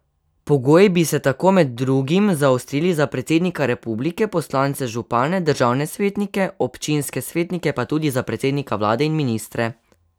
Pogoji bi se tako med drugim zaostrili za predsednika republike, poslance, župane, državne svetnike, občinske svetnike pa tudi za predsednika vlade in ministre.